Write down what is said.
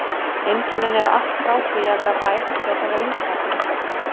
Einkennin eru allt frá því að vera væg til þess að vera lífshættuleg.